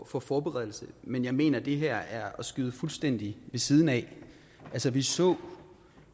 for forberedelse men jeg mener det her er at skyde fuldstændig ved siden af altså vi så